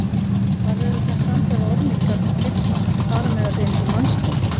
Varð auðvitað að standa við orð mín gagnvart Bibba, fara með þetta eins og mannsmorð.